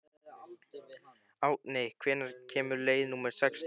Árni, hvenær kemur leið númer sextán?